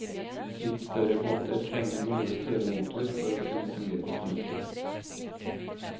Litt større båter trenger noe større motor for å kunne fungere fornuftig.